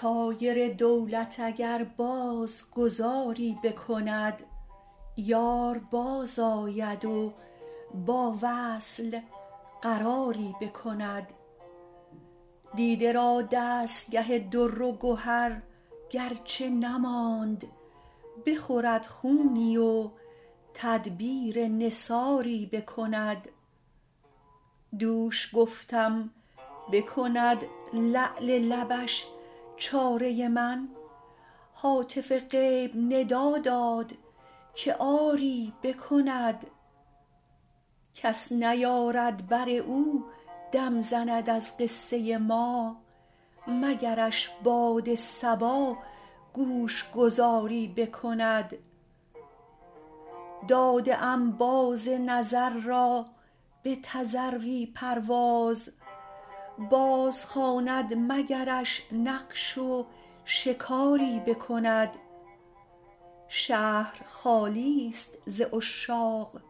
طایر دولت اگر باز گذاری بکند یار بازآید و با وصل قراری بکند دیده را دستگه در و گهر گر چه نماند بخورد خونی و تدبیر نثاری بکند دوش گفتم بکند لعل لبش چاره من هاتف غیب ندا داد که آری بکند کس نیارد بر او دم زند از قصه ما مگرش باد صبا گوش گذاری بکند داده ام باز نظر را به تذروی پرواز بازخواند مگرش نقش و شکاری بکند شهر خالی ست ز عشاق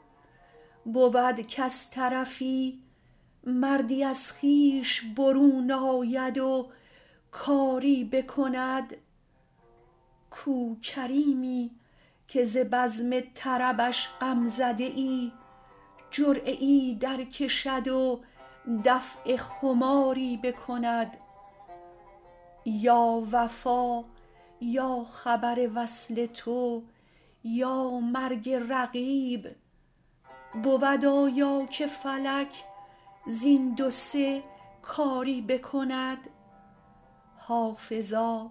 بود کز طرفی مردی از خویش برون آید و کاری بکند کو کریمی که ز بزم طربش غم زده ای جرعه ای درکشد و دفع خماری بکند یا وفا یا خبر وصل تو یا مرگ رقیب بود آیا که فلک زین دو سه کاری بکند حافظا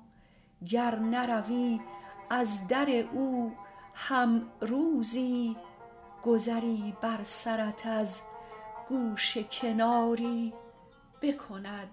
گر نروی از در او هم روزی گذری بر سرت از گوشه کناری بکند